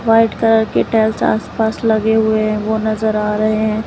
White colour के tiles आस पास लगे हुए है वो नजर आ रहे है।